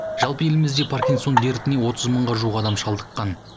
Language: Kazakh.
жалпы елімізде паркинсон дертіне отыз мыңға жуық адам шалдыққан